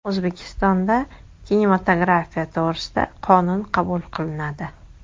O‘zbekistonda kinematografiya to‘g‘risida qonun qabul qilinadi .